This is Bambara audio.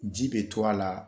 Ji be to a la